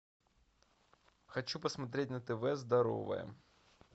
хочу посмотреть на тв здоровое